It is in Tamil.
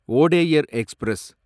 வோடேயர் எக்ஸ்பிரஸ்